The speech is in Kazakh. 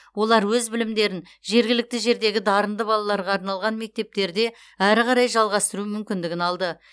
олар өз білімдерін жергілікті жердегі дарынды балаларға арналған мектептерде әрі қарай жалғастыру мүмкіндігін алды